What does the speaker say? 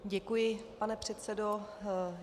Děkuji, pane předsedo.